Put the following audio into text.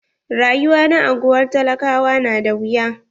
Rayuwa na anguwan talakawa na da wuya.